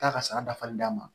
Taa ka sara dafali d'a ma